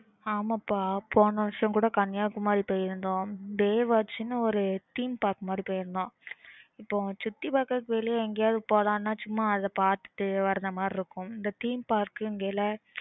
ஆமா பா போன வருஷம் கூட Kanyakumari போயிருந்தோம் baywatch ஒரு theme park மாதிரி போயிருந்தோம் இப்போ சுத்தி பாக்குறதுக்கு வெளில எங்கயாச்சும் போலாம்ன்னா